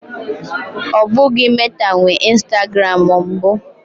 Ọ bụghị Meta nwe Instagram mbụ.